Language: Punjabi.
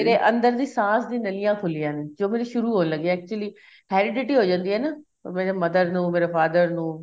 ਮੇਰੇ ਅੰਦਰ ਦੀ ਸਾਸ ਦੀ ਨਾਲੀਆਂ ਖੁਲੀਆਂ ਨੇ ਜੋ ਮੇਰੀ ਸ਼ੁਰੂ ਹੋਣ ਲੱਗੀ ਏ actually heredity ਹੋ ਜਾਂਦੀ ਏ ਨਾ ਮੇਰੇ mother ਨੂੰ ਮੇਰੇ father ਨੂੰ